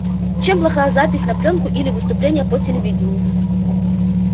чем плохая запись на плёнку или выступление по телевидению